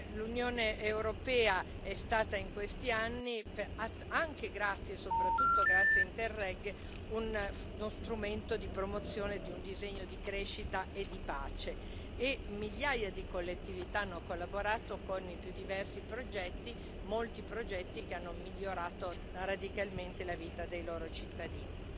L'Unione europea è stata in questi anni, anche e soprattutto grazie a Interreg, uno strumento di promozione di un disegno di crescita e di pace e migliaia di collettività hanno collaborato con i più diversi progetti, molti dei quali hanno migliorato radicalmente la vita dei loro cittadini.